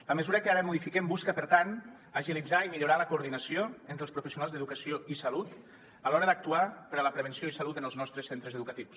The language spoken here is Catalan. la mesura que ara modifiquem busca per tant agilitzar i millorar la coordinació entre els professionals d’educació i salut a l’hora d’actuar per a la prevenció i salut en els nostres centres educatius